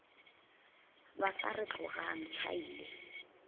ba sa re tlogang tšhaile